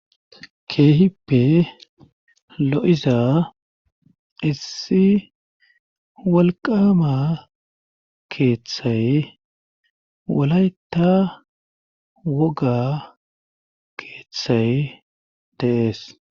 keehippe lo7iza issi walqama keeththay walayta woga keeththay daees